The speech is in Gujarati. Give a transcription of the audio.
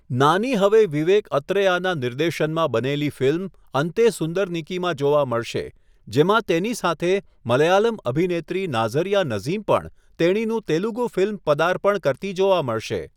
નાની હવે વિવેક અત્રેયાના નિર્દેશનમાં બનેલી ફિલ્મ 'અન્તે સુંદરનિકી' માં જોવા મળશે, જેમાં તેની સાથે મલયાલમ અભિનેત્રી નાઝરિયા નઝીમ પણ તેણીનું તેલુગુ ફિલ્મ પદાર્પણ કરતી જોવા મળશે.